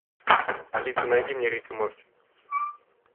алиса найди мне рик и морти